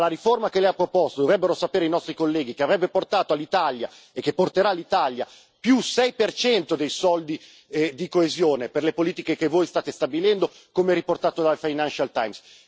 Ma la riforma che Lei ha proposto dovrebbero sapere i nostri colleghi che avrebbe portato all'Italia e che porterà l'Italia più 6 dei fondi di coesione per le politiche che voi state stabilendo, come riportato dal Financial Times.